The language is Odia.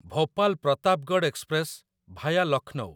Bhopal Pratapgarh express via Lucknow